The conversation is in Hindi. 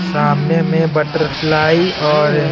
सामने में बटरफ्लाई और--